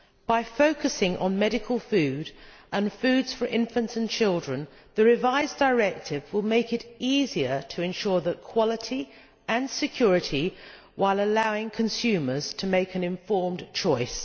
By focusing on medical food and foods for infants and children, the revised directive will make it easier to ensure quality and security while allowing consumers to make an informed choice.